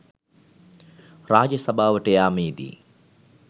රාජසභාවට යාමේදී